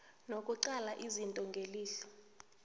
nokuqala izinto ngelihlo